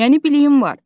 Yəni biliyim var.